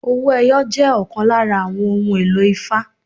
Owó ẹyọ jẹ́ ọ̀kan lára àwọn ohun èlò ifá.